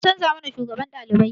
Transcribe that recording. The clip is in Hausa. An canza mana shugaban ɗalibai